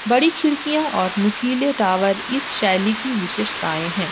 बड़ी खिड़कियां और नुकीले टावर इस शैली की विशेषताएं है।